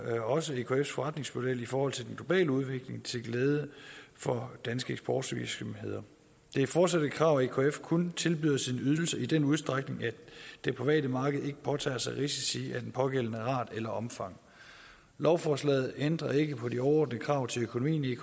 også ekfs forretningsmodel i forhold til den globale udvikling til glæde for danske eksportvirksomheder det er fortsat et krav at ekf kun tilbyder sin ydelse i den udstrækning at det private marked ikke påtager sig risici af den pågældende art eller omfang lovforslaget ændrer ikke på de overordnede krav til økonomien i